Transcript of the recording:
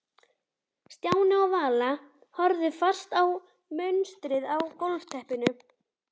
Stjáni og Vala horfðu fast á munstrið á gólfteppinu.